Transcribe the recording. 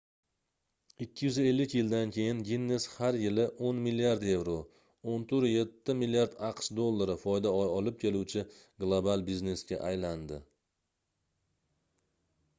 250 yildan keyin ginnes har yili 10 milliard yevro 14,7 milliard aqsh dollari foyda olib keluvchi global biznesga aylandi